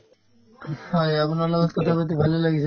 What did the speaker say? হয়, আপোনাৰ লগত কথাপাতি ভালেই লাগিছে